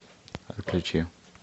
включи